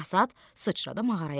Basat sıçradı mağaraya.